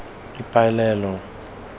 ipabaleo